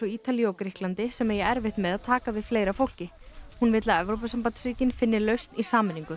Ítalíu og Grikklandi sem eigi erfitt með að taka við fleira fólki hún vill að Evrópusambandsríkin finni lausn í sameiningu